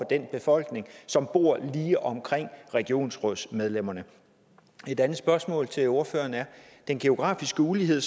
den befolkning som bor lige omkring regionsrådsmedlemmerne et andet spørgsmål til ordføreren er den geografiske ulighed